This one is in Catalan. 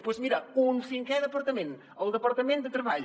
doncs mira un cinquè departament el departament de treball